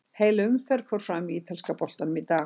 Heil umferð fór fram í ítalska boltanum í dag.